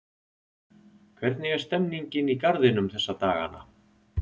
Hvernig er stemmningin í Garðinum þessa dagana?